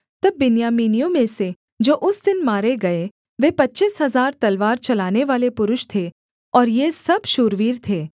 तब बिन्यामीनियों में से जो उस दिन मारे गए वे पच्चीस हजार तलवार चलानेवाले पुरुष थे और ये सब शूरवीर थे